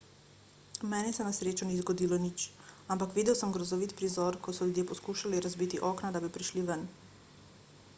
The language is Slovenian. meni se na srečo ni zgodilo nič ampak videl sem grozovit prizor ko so ljudje poskušali razbiti okna da bi prišli ven